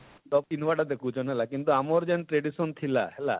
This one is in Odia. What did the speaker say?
କିନ୍ତୁ ଆମର ଯେନ tradition ଥିଲା ହେଲା,